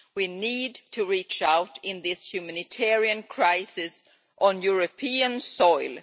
We need to reach out in this humanitarian crisis on European soil.